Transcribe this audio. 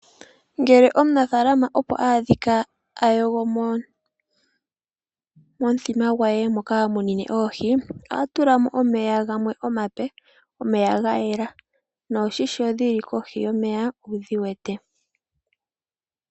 Ngele omunafalama opo adhika ayogomo momuthima gwe moka hamunine oohi oha tulamo omeya gamwe omape, omeya ga yela noohi sho dhili kohi yomeya owudhi wete.